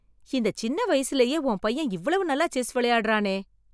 இந்த சின்ன வயசுலயே உன் பையன் இவ்வளவு நல்லா செஸ் விளையாடுறானே!